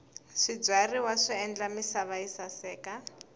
swibyariwa swi endla misava yi saseka